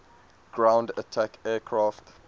ground attack aircraft